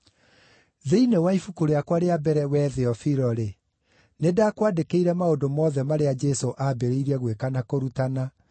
Thĩinĩ wa ibuku rĩakwa rĩa mbere, wee Theofilo-rĩ, nĩndakwandĩkĩire maũndũ mothe marĩa Jesũ aambĩrĩirie gwĩka na kũrutana